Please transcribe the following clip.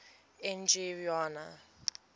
n g rjuna